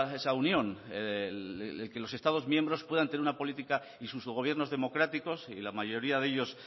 esa unión el que los estados miembros puedan tener una política y sus gobiernos democráticos y la mayoría de ellos